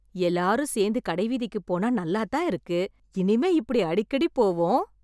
எல்லாரும் சேர்ந்து கடை வீதிக்குப் போனா நல்லாதான் இருக்கு... இனிமே இப்படி அடிக்கடி போவோம்.